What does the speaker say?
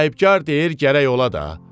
Sahibkar deyir gərək ola da.